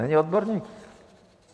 Není odborník?